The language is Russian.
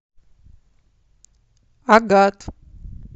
агат